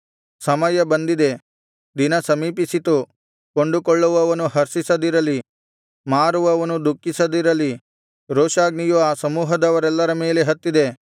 ಸಮಯ ಬಂದಿದೆ ದಿನ ಸಮೀಪಿಸಿತು ಕೊಂಡುಕೊಳ್ಳುವವನು ಹರ್ಷಿಸದಿರಲಿ ಮಾರುವವನು ದುಃಖಿಸದಿರಲಿ ರೋಷಾಗ್ನಿಯು ಆ ಸಮೂಹದವರೆಲ್ಲರ ಮೇಲೆ ಹತ್ತಿದೆ